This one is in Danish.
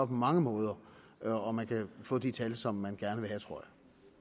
på mange måder og man kan få de tal som man gerne vil have tror